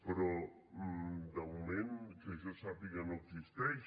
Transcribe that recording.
però de moment que jo sàpiga no existeix